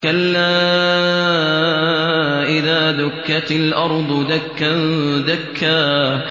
كَلَّا إِذَا دُكَّتِ الْأَرْضُ دَكًّا دَكًّا